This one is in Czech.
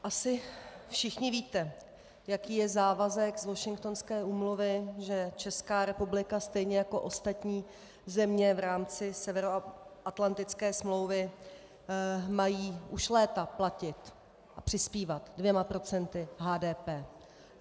Asi všichni víte, jaký je závazek z Washingtonské úmluvy, že Česká republika stejně jako ostatní země v rámci Severoatlantické smlouvy mají už léta platit a přispívat dvěma procenty HDP.